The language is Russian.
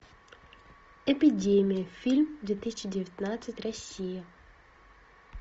эпидемия фильм две тысячи девятнадцать россия